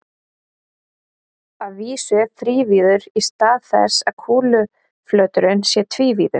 Að vísu þrívíður í stað þess að kúluflöturinn sé tvívíður.